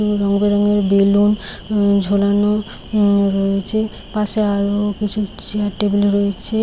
এ রঙ বেরঙের বেলুন । উম-ম ঝোলানো উম-ম-ম রয়েছে । পাশে আরো-ও কিছু চেয়ার টেবিল রয়েছে ।